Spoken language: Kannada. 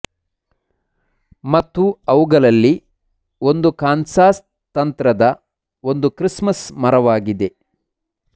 ಮತ್ತು ಅವುಗಳಲ್ಲಿ ಒಂದು ಕಾನ್ಸಾಸ್ ತಂತ್ರದ ಒಂದು ಕ್ರಿಸ್ಮಸ್ ಮರವಾಗಿದೆ